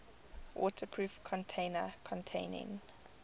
waterproof container containing